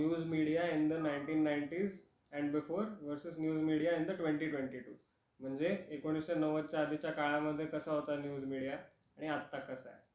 News media in the ninety nineties and before versus news media in the twenty twenty two. म्हणजे एकोणीशे नव्वदच्या आधीच्या काळा मध्ये कसा होता न्यूज मिडीया आणि आता कसा आहे. तर